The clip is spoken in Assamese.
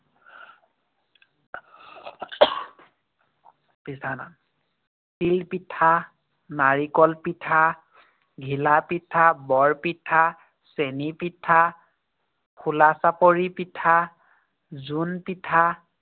পিঠা নাম। তিল পিঠা, নাৰিকল পিঠা, ঘিলা পিঠা, বৰ পিঠা, চেনী পিঠা, খোলাচাপৰি পিঠা, জোন পিঠা